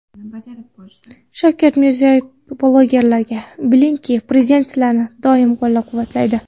Shavkat Mirziyoyev blogerlarga: Bilingki, Prezident sizlarni doim qo‘llab-quvvatlaydi.